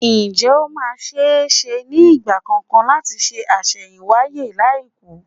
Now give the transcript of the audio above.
Ǹjé ó máa ṣe-é-ṣe ní ìgbà kankan láti ṣe àṣẹ̀yìnwáyé láìkú?